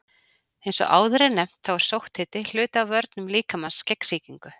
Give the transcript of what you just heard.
Eins og áður er nefnt þá er sótthiti hluti af vörnum líkamans gegn sýkingu.